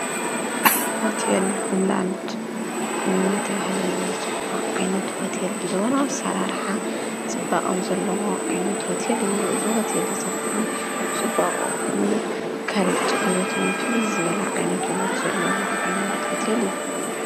ሆቴል ሆምላንድ እናተብሃለ ዝፅዋዕ ዓይነት ሆቴል ዘበናዊ ኣሰራርሓ ፅባቀ ዘለዎ ዓይነት ሆቴል እዩ ዝሆቴል ኸዓ ፅባቀኡን ፅርየቱን ፍልይ ዝበለ ዓይነት ውበት ዘለዎ ዓይነት ሆቴል እዩ።